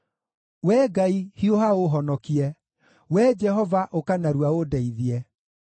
Wee Ngai, hiũha ũũhonokie; Wee Jehova ũka narua ũndeithie.